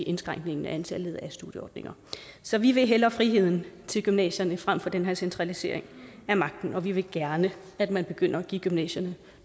indskrænkningen i antallet af studieordninger så vi vil hellere friheden til gymnasierne fremfor den her centralisering af magten og vi vil gerne at man begynder at give gymnasierne